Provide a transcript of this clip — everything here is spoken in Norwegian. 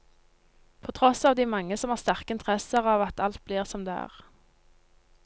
På tross av de mange som har sterke interesser av at alt blir som det er.